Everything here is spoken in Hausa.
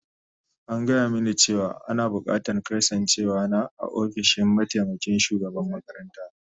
An gaya mini cewa ana bukatar kasancewar na a ofishin mataimakin shugaban makaranta